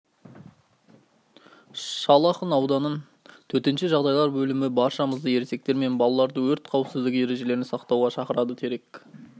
шал ақын ауданын төтенше жағдайлар бөлімі баршамызды ересектер мен балаларды өрт қауіпсіздігі ережелерін сақтауға шақырады терек